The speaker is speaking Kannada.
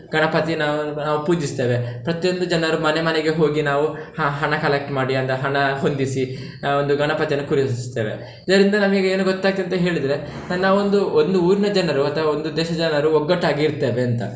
ಗಣಪತಿ ನಾವ್~ ನಾವು ಪೂಜಿಸ್ತೇವೆ ಪ್ರತಿಯೊಂದು ಜನರು ಮನೆ ಮನೆಗೆ ಹೋಗಿ ನಾವು ಹ~ ಹಣ collect ಮಾಡಿ ಅಂತ ಹಣ ಹೊಂದಿಸಿ, ನಾವು ಒಂದು ಗಣಪತಿಯನ್ನು ಕೂರಿಸ್ತೇವೆ, ಇದರಿಂದ ನಮಗೆ ಏನು ಗೊತ್ತಾಗ್ತದೆ ಅಂತ ಹೇಳಿದ್ರೆ ನಾವು ಒಂದು ಒಂದು ಊರಿನ ಜನರು ಅಥವಾ ಒಂದು ದೇಶದ ಜನರು ಒಗಟ್ಟಾಗಿ ಇರ್ತೇವೆ ಅಂತ.